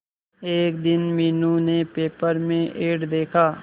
एक दिन मीनू ने पेपर में एड देखा